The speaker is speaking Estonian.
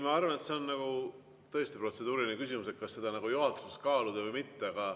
Ma arvan, et see on tõesti protseduuriline küsimus, kas seda juhatuses kaaluda või mitte.